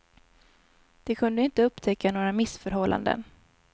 De kunde inte upptäcka några missförhållanden.